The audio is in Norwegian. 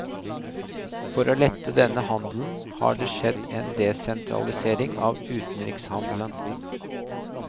For å lette denne handelen har det skjedd en desentralisering av utenrikshandelen.